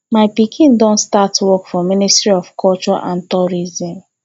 my pikin don start work for ministry of culture and tourism